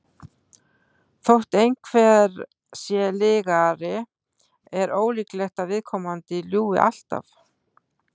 þótt einhver sé lygari er ólíklegt að viðkomandi ljúgi alltaf